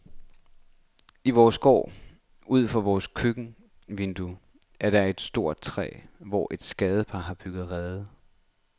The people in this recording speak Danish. I vores gård ud for vores køkkenvindue er der et stort træ, hvor et skadepar har bygget rede.